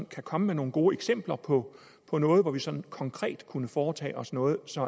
kan komme med nogle gode eksempler på på noget hvor vi sådan konkret kunne foretage os noget så